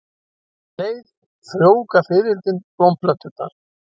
Um leið frjóvga fiðrildin blómplönturnar.